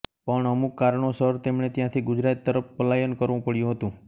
પણ અમુક કારણો સર તેમણે ત્યાંથી ગુજરાત તરફ પલાયન કરવું પડ્યું હતું